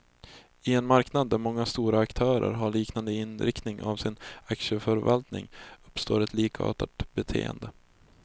I en marknad där många stora aktörer har liknande inriktning av sin aktieförvaltning, uppstår ett likartat beteende.